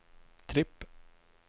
tripp